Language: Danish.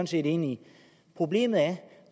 set enige i problemet er at